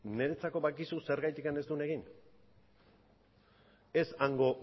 niretzako badakizu zergatik ez duen egin ez hango